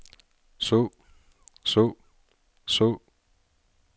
så så så